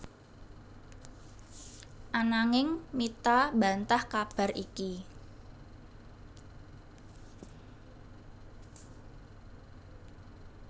Ananging Mitha mbantah kabar iki